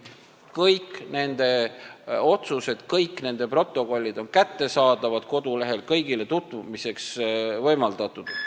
Kõik nende otsused, kõik nende protokollid on kättesaadavad kodulehel – kõigil on võimalik nendega tutvuda.